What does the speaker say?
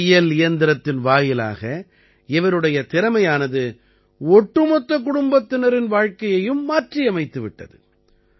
ஒரு தையல் இயந்திரத்தின் வாயிலாக இவருடைய திறமையானது ஒட்டுமொத்த குடும்பத்தினரின் வாழ்க்கையையும் மாற்றியமைத்துவிட்டது